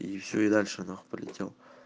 и всё и дальше нахуй пролетел